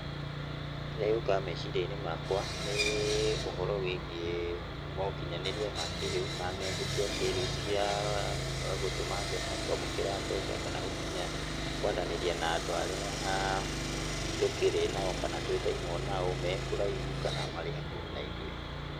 Kĩrĩa gĩũkaga meciria-inĩ makwa nĩ ũhoro wĩgiĩ mokinyanĩria ma kĩrĩu, na ng'enda cia kĩrĩu cia gũtũma mbeca, kwamũkĩra mbeca kana gũkinya, kwaranĩria na andũ arĩa tũkĩrĩ nao kana twĩtainwo nao mekũraihu kana marĩ hakuhĩ na ithuĩ.